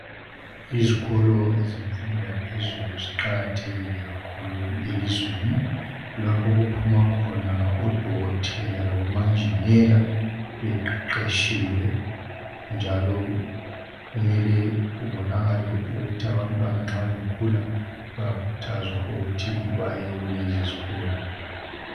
Izikolo zemfundo yaphezulu ziqakathekile kakhulu elizweni kulapho okuphuma khona odokotela labomanjinela beqeqetshiwe njalo kumele kubonakale ukuthi abantwana nxa bekhula baye kulezi zikolo.